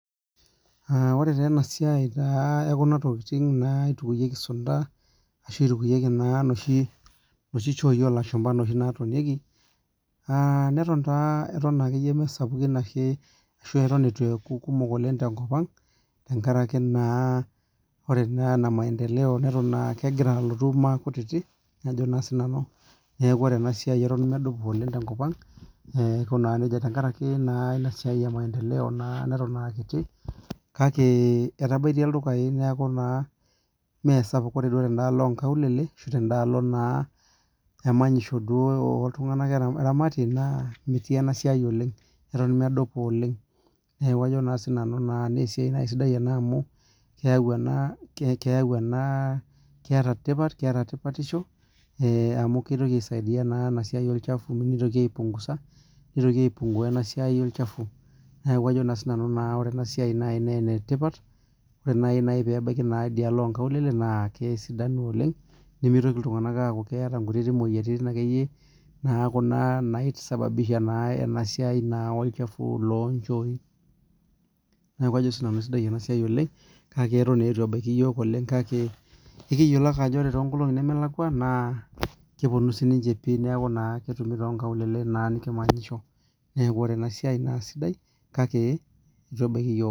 Ore taa ena siai taa ekuna tokitin naitukuekie sunta arashu naitokieki noshi chooi oo lashumba noshinatonieki naton naa mesapukin ashu eitu eku kumok oleng tenkop ang tenkaraki naa ore ena maendeleo neton aa kegira alotu maakutiti neeku ore ena siai keton medupa tenkop ang tenkaraki naa etapeje enasiai emaendeleo neton naa akiti kake etabaitie iltung'ana ildukai kake mmee sapuk ore duo tanaloo oo nkaulele tedaloo naa emanyisho naa oltung'ani oramatie metii enasiai oleng Eton medupa oleng naa esiai sidai naaji ena amu keeta tipat amu kitoki aisaidia ena siai olchafu nitoki aipunguza nitoki aipunguza ena siai olchafu neeku Ajo nanu ore enasiai naa enetipat ore naaji peyie ebaiki enaloo oo nkaulele naa kesidanu oleng nimitoki iltung'ana amu keeta nkuti moyiaritin akeyieyie naisababisha ena siai olchafu loo chooi neeku Ajo nanu sidai ena siai oleng hoo neton eitu ebaiki iyiok kake kiyiolo ake Ajo ore too nkolong'i nemelakua naa kapunua ake netumie too nkaulele neeku ore ena siai naa sidai kake eitu ebaiki iyiok